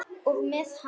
Og með hann.